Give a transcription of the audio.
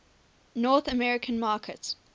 north american market